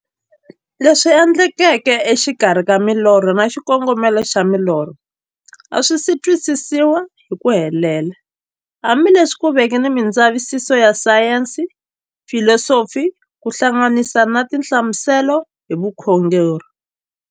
Leswi endlekaka e xikarhi ka milorho na xikongomelo xa milorho a swisi twisisiwa hi ku helela, hambi leswi ku veke na mindzavisiso ya sayensi, filosofi ku hlanganisa na tinhlamuselo hi vukhongori.